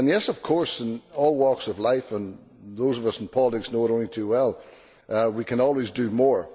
Of course in all walks of life, as those of us in politics know only too well, we can always do more.